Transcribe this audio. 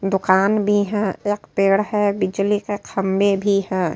दुकान भी हैं। एक पेड़ है बिजली के खंभे भी हैं।